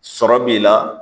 Sɔrɔ b'i la